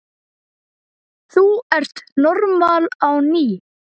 Þú ert normal á ný.